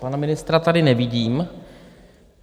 Pana ministra tady nevidím.